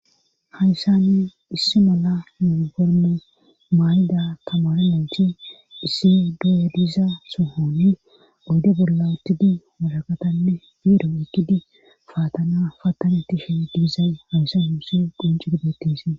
Hayssanni issi mala murogorno mayda kamaralanti issi du7eriza sohoni goyde bolla uttidi waraqatanne diiro ikidi faatana fattane tishe digizay hawyssa yuuse quncu dubhetise.